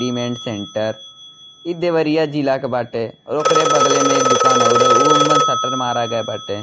Readymade centre इ देवरिया जिला के बाटे और ओकरे बगले में एक दोकान औरो उ मा शटर मारा गया बाटे।